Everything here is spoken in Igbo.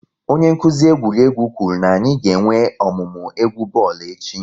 Onye nkuzi egwuregwu kwuru na-anyị ga-enwe ọmụmụ egwu bọọlụ echi